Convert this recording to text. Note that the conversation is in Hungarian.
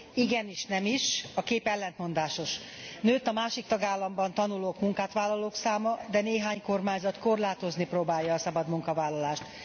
Igen is, nem is a kép ellentmondásos. Nőtt a másik tagállamban tanulók, munkát vállalók száma, de néhány kormányzat korlátozni próbálja a szabad munkavállalást.